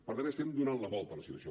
per tant estem donant la volta a la situació